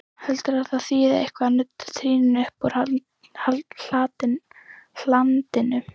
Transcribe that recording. Heldurðu að það þýði eitthvað að nudda trýninu uppúr hlandinu!